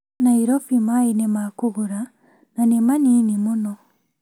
Nairobi maĩ nĩ makũgũra na nĩ manini mũno